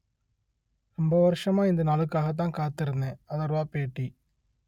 ரொம்ப வருஷமா இந்த நாளுக்காகத்தான் காத்திருந்தேன் அதர்வா பேட்டி